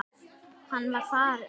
Hann er farinn, dáinn.